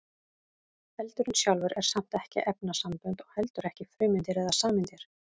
eldurinn sjálfur er samt ekki efnasambönd og heldur ekki frumeindir eða sameindir